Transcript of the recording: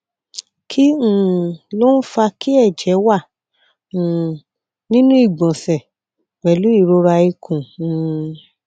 kí um ló ń fa kí ẹjẹ wà um nínú ìgbọnsẹ pẹlú ìrora ikùn um